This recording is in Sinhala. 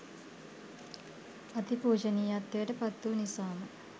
අති පූජනීයත්වයට පත් වූ නිසාම